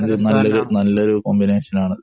അതെ അതൊരു കോമ്പിനേഷൻ ആണ്